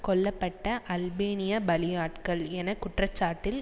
கொல்ல பட்ட அல்பேனிய பலியாட்கள் என குற்றச்சாட்டில்